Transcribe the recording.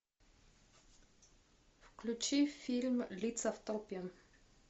включи фильм лица в толпе